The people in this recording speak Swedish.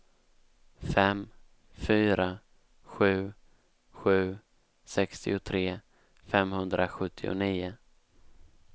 fem fyra sju sju sextiotre femhundrasjuttionio